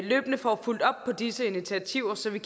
løbende får fulgt op på disse initiativer så vi